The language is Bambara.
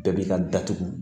Bɛɛ b'i ka datugu